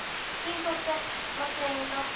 Þín dóttir, Magnea Inga.